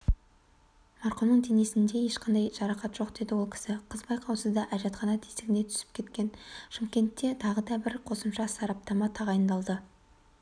марқұмның денесінде ешқандай жарақат жоқ деді ол кісі қыз байқаусызда әжетхана тесігіне түсіп кеткен шымкентте тағы да қосымша сараптама тағайындалды